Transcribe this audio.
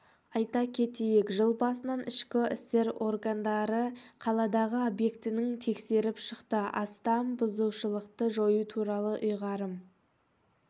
айта кетейік жыл басынан ішкі істер органдары қаладағы объектінің тексеріп шықты астам бұзушылықты жою туралы ұйғарым